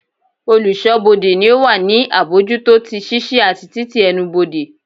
Oluso-bode ni o wa ni abojuto ti ṣiṣi ati tití ẹnubodè.